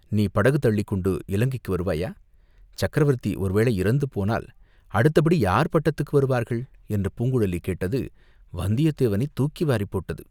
நீ படகு தள்ளிக்கொண்டு இலங்கைக்கு வருவாயா?" "சக்கரவர்த்தி ஒருவேளை இறந்து போனால் அடுத்தபடி யார் பட்டத்துக்கு வருவார்கள்?" என்று பூங்குழலி கேட்டது வந்தியத்தேவனைத் தூக்கி வாரிப் போட்டது.